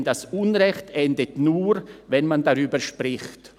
Denn das Unrecht endet nur, wenn man darüber spricht.»